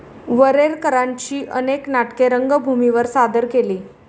वरेरकरांची अनेक नाटके रंगभूमीवर सादर केली.